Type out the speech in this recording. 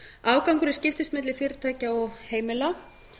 afgangurinn skiptist milli fyrirtækja og heimila